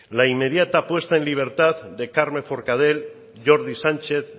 la inmediata puesta en libertad de carme forcadel jordi sánchez